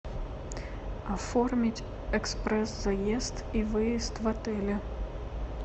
оформить экспресс заезд и выезд в отеле